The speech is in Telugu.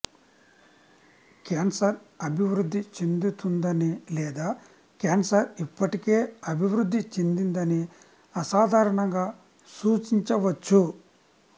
క్యాన్సర్ అభివృద్ధి చెందుతుందని లేదా క్యాన్సర్ ఇప్పటికే అభివృద్ధి చెందిందని అసాధారణంగా సూచించవచ్చు